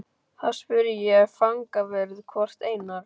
Þá spurði ég fangavörð hvort Einar